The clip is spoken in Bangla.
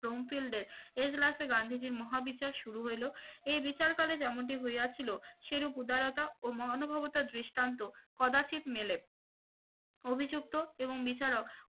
রঙফিল্ডে এজলাফে গান্ধীজীর মহা বিচার শুরু হইল এই বিচারকালে যেমনটি হইয়াছিল উদারতা ও মহানুভবতা দৃষ্টান্ত কদাচিৎ মেলে অভিযুক্ত এবং বিচারক